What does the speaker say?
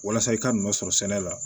Walasa i ka nɔ sɔrɔ sɛnɛ la